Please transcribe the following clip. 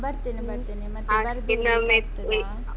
ಹ ಬರ್ತೇನೆ ಬರ್ತೇನೆ. ಮತ್ತೆ ಇರ್ಲಿಕ್ಕೆ ಆಗ್ತದಾ?